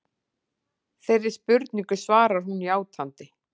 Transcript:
Þeirri spurningu svarar hún játandi